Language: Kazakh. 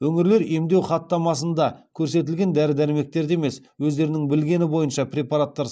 өңірлер емдеу хаттамасында көрсетілген дәрі дәрмектерді емес өздерінің білгені бойынша препараттар